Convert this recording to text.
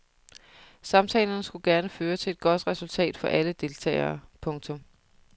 Samtalerne skulle gerne føre til et godt resultat for alle deltagere. punktum